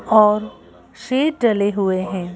और शेर डले हुए हैं।